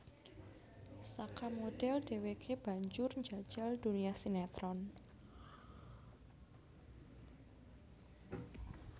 Saka modhel dheweke banjur njajal dunia sinetron